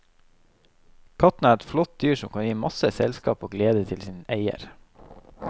Katten er et flott dyr som kan gi masse selskap og glede til sin eier.